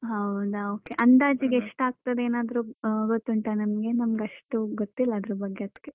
ಹೌದಾ okay ಅಂದಾಜಿಗೆ ಎಷ್ಟಾಗ್ತದೆ ಏನಾದ್ರು ಗೊತ್ತುಂಟಾ ನಮ್ಗೆ ನಮ್ಗ್ ಅಷ್ಟು ಗೊತ್ತಿಲ್ಲ ಅದ್ರ ಬಗ್ಗೆ ಅದ್ಕೆ